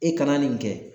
E kana nin kɛ